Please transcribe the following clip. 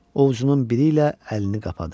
Ovucunun biri ilə əlini qapadı.